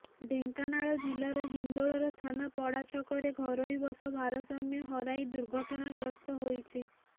ଢେଙ୍କାନାଳ ଜିଲ୍ଲାର ହିନ୍ଦୋଳର ଥାନା ପଡ଼ାଛକରେ ଘରୋଇ ବସ ଭାରସାମ୍ୟ ହରାଇ ଦୁର୍ଘଟଣାଗ୍ରସ୍ତ ହୋଇଛି